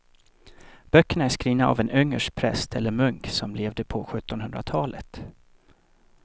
Böckerna är skrivna av en ungersk präst eller munk som levde på sjuttonhundratalet.